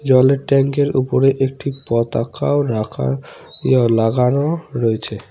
জলের ট্যাংকের ওপরে একটি পতাকাও রাখা ইয়ে লাগানো রয়েছে।